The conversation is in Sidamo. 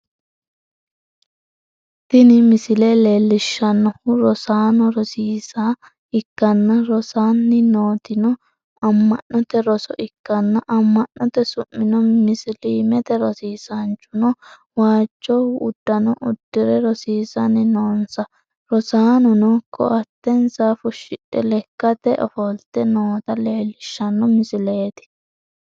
tini misile leellishshannohu rosanna rosiisa ikkanna, rosanni nootino amma'note roso ikkanna, amma'note su'mino musiliimete, rosiisaanchuno waajjo uddano uddi're rosiisanni noonsa, rosaanono ko'attensa fushshidhe lekkatenni ofolte noota leellishshanno misileeti.